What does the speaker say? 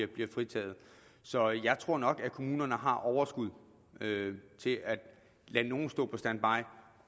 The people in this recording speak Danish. bliver fritaget så jeg tror nok at kommunerne har overskud til at lade nogle stå på standby